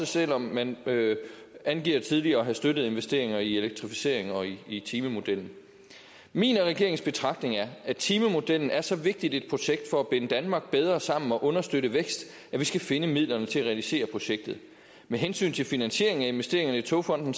selv om man angiver tidligere at have støttet investeringer i elektrificering og i timemodellen min og regeringens betragtning er at timemodellen er så vigtigt et projekt for at binde danmark bedre sammen og understøtte vækst at vi skal finde midlerne til at realisere projektet med hensyn til finansieringen af investeringerne i togfonden